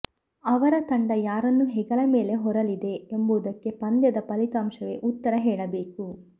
ಅವರ ತಂಡ ಯಾರನ್ನು ಹೆಗಲ ಮೇಲೆ ಹೊರಲಿದೆ ಎಂಬುದಕ್ಕೆ ಪಂದ್ಯದ ಫಲಿತಾಂಶವೇ ಉತ್ತರ ಹೇಳಬೇಕು